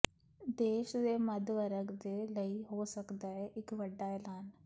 ਦੇਸ਼ ਦੇ ਮੱਧ ਵਰਗ ਦੇ ਲਈ ਹੋ ਸਕਦਾ ਹੈ ਇਕ ਵੱਡਾ ਐਲਾਨ